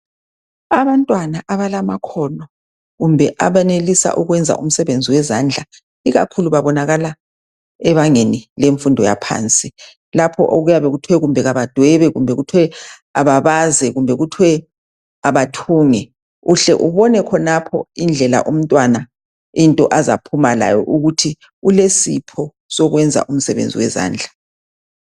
Abantwana abalamakhono kumbe abenelisa ukwenza umsebenzi wezandla ikakhulu babonakala ebangeni lemfundo yaphansi . Lapho okuyabe kuthiwe kabadwebe ,babaze kumbe kuthiwe abathunge .Uhle ubone khonapho indlela umntwana into azaphuma layo ukuthi ulesipho sokwenza umsebenzi wezandla .